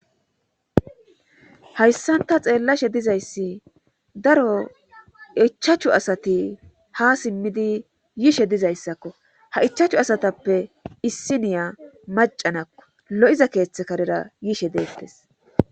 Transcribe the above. Hayssanta xeellashe dizayssi daro ichachu asati ha simmidi yiishe dizayssakko ha ichachu asatappe issiniya macanakko lo7iza keeththe karera yiishe deettes